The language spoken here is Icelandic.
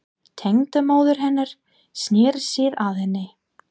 Tengdamóðir hennar snýr sér að henni.